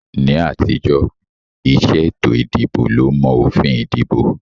Ní àtijọ́, ìṣe ètò ìdìbò ló mọ òfin ìdìbò